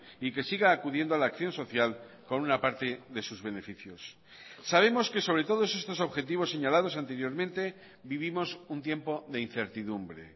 y que siga acudiendo a la acción social con una parte de sus beneficios sabemos que sobre todo estos objetivos señalados anteriormente vivimos un tiempo de incertidumbre